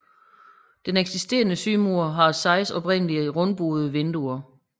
Den eksisterende sydmur har seks oprindelige rundebuede vinduer